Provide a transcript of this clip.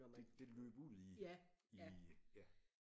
Det det det løb ud i i ja